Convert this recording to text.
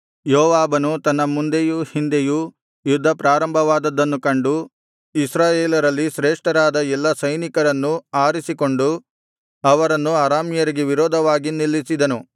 ಯೋವಾಬನು ತನ್ನ ಮುಂದೆಯೂ ಹಿಂದೆಯೂ ಯುದ್ಧ ಪ್ರಾರಂಭವಾದದ್ದನ್ನು ಕಂಡು ಇಸ್ರಾಯೇಲ್ಯರಲ್ಲಿ ಶ್ರೇಷ್ಠರಾದ ಎಲ್ಲಾ ಸೈನಿಕರನ್ನು ಆರಿಸಿಕೊಂಡು ಅವರನ್ನು ಅರಾಮ್ಯರಿಗೆ ವಿರೋಧವಾಗಿ ನಿಲ್ಲಿಸಿದನು